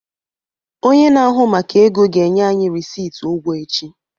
Onye na-ahụ maka ego ga-enye anyị rịsịtị ụgwọ echi.